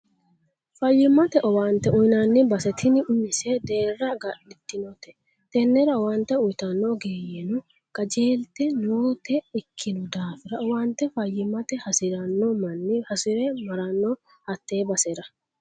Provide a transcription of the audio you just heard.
Faayyimate owaante uyinanni base tini umise deerra agadhitinote tenera owaante uyittano ogeeyyeno qajeelte noote ikkino daafira owaante faayyimatta hasirano manni hasire marrano hate basera.